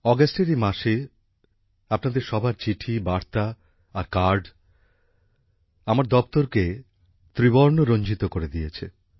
অগাস্টের এই মাসে আপনাদের সবার চিঠি বার্তা আর কার্ড আমার দপ্তরকে ত্রিবর্ণ রঞ্জিত করে দিয়েছে